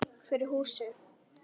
Fyrir húsið.